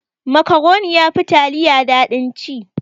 Makaroni yafi taliya daɗin ci.